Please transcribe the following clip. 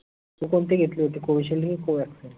तू कोनती घेतली होती? Covishield की Covaxin